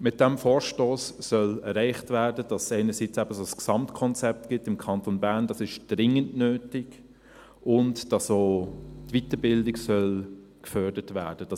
Mit diesem Vorstoss soll erreicht werden, dass es im Kanton Bern einerseits ein solches Gesamtkonzept gibt – das ist dringend nötig –, und dass andererseits auch die Weiterbildung gefördert werden soll.